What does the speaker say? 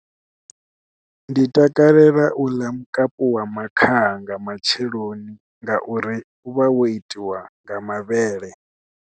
Ndi takalela u ḽa mukapu wa makhaha nga matsheloni nga uri u vha wo itiwa nga mavhele.